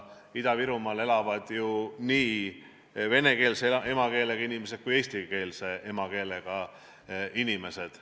Ida-Virumaal elavad ju nii vene emakeelega inimesed kui ka eesti emakeelega inimesed.